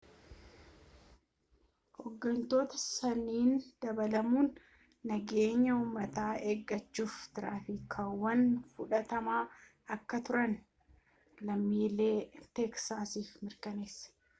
ooggantoota saniin dabaalamuun nageenya uummataa eguudhaf tarkaanfiiwwan fudhatamaa akka turan lammiilee teeksaasiif mirkaneesse